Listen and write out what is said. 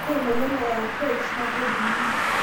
Ore emoyian e Rh naa kejungi.